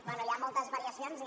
bé hi ha moltes variacions i